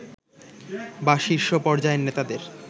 বা শীর্ষ পর্যায়ের নেতাদের